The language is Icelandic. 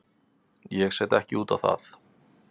Ég set ekki út á það.